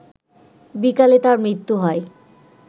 বিকালে তার মৃত্যু হয়